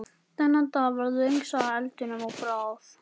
Þennan dag varð löng saga eldinum að bráð.